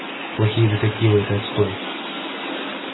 плохие детективы это отстой